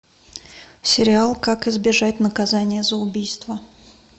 сериал как избежать наказания за убийство